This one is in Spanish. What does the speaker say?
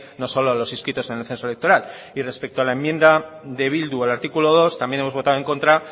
no solo a los inscritos en el censo electoral y respecto a la enmienda de bildu al artículo dos también hemos votado en contra